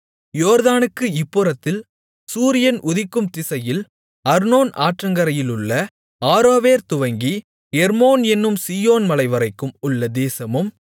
யோர்தானுக்கு இப்புறத்தில் சூரியன் உதிக்கும் திசையில் அர்னோன் ஆற்றங்கரையிலுள்ள ஆரோவேர் துவங்கி எர்மோன் என்னும் சீயோன் மலைவரைக்கும் உள்ள தேசமும்